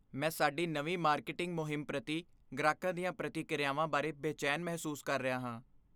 ਮੈਂ ਸਾਡੀ ਨਵੀਂ ਮਾਰਕੀਟਿੰਗ ਮੁਹਿੰਮ ਪ੍ਰਤੀ ਗ੍ਰਾਹਕਾਂ ਦੀਆਂ ਪ੍ਰਤੀਕ੍ਰਿਆਵਾਂ ਬਾਰੇ ਬੇਚੈਨ ਮਹਿਸੂਸ ਕਰ ਰਿਹਾ ਹਾਂ।